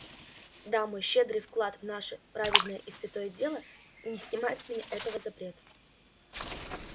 да мой щедрый вклад в наше праведное и святое дело не снимает с меня этого запрета